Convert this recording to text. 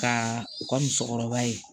Ka u ka musokɔrɔba ye